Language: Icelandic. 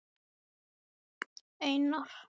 Einir, hvað er á innkaupalistanum mínum?